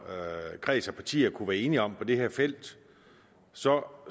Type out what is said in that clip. kreds af partier kunne blive enige om på det her felt så